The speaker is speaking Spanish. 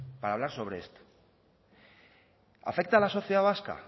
para hablar sobre esto afecta a la sociedad vasca